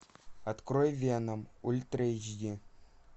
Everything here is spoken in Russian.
открой веном ультра эйч ди